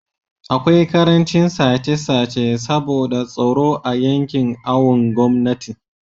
akwai karancin sace sace saboda tsaro a yankin awon gomnati